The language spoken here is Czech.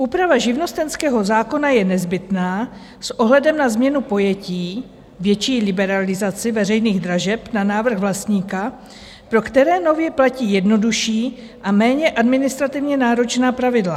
Úprava živnostenského zákona je nezbytná s ohledem na změnu pojetí, větší liberalizaci veřejných dražeb na návrh vlastníka, pro které nově platí jednodušší a méně administrativně náročná pravidla.